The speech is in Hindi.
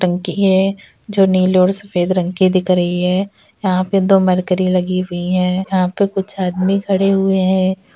टंकी है जो नीले और सफेद रंग की दिख रही है यहां पे दो मरकरी लगी हुई है यहां पे कुछ आदमी खड़े हुए है।